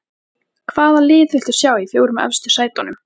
Hvaða lið viltu sjá í fjórum efstu sætunum?